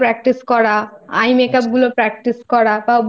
কাজ আসে সেগুলো করি ঘরে আমি বসে থাকলে ওই মোটামুটি ওই